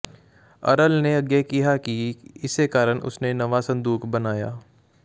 ਅਰਲ ਨੇ ਅੱਗੇ ਕਿਹਾ ਕਿ ਇਸੇ ਕਾਰਨ ਉਸ ਨੇ ਨਵਾਂ ਸੰਦੂਕ ਬਣਾਇਆ